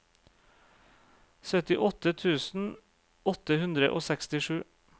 sytti tusen åtte hundre og sekstisju